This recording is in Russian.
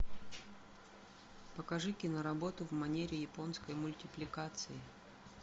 покажи киноработу в манере японской мультипликации